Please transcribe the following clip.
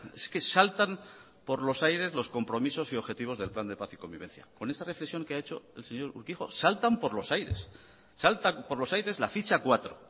es que saltan por los aires los compromisos y objetivos del plan de paz y convivencia con esa reflexión que ha hecho el señor urquijo saltan por los aires saltan por los aires la ficha cuatro